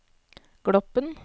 Gloppen